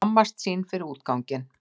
Skammast sín fyrir útganginn.